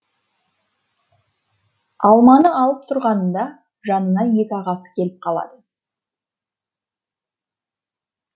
алманы алып тұрғанында жанына екі ағасы келіп қалады